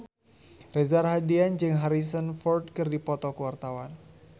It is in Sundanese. Reza Rahardian jeung Harrison Ford keur dipoto ku wartawan